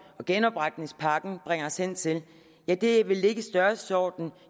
og genopretningspakken bringer os hen til ja det vil ligge i størrelsesordenen og